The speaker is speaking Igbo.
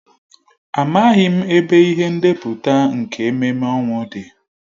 Amaghị m ebe ihe ndepụta nke ememme ọnwụ dị.